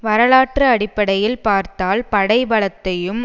வரலாற்று அடிப்படையில் பார்த்தால் படை பலத்தையும்